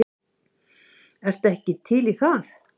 Ertu ekki til í það?